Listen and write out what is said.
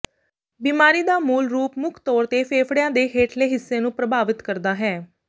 ਬਿਮਾਰੀ ਦਾ ਮੂਲ ਰੂਪ ਮੁੱਖ ਤੌਰ ਤੇ ਫੇਫੜਿਆਂ ਦੇ ਹੇਠਲੇ ਹਿੱਸੇ ਨੂੰ ਪ੍ਰਭਾਵਿਤ ਕਰਦਾ ਹੈ